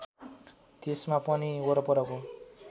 त्यसमा पनि वरपरको